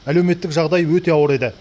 әлеуметтік жағдай өте ауыр еді